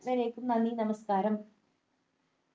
വരെക്കും നന്ദി നമസ്കാരം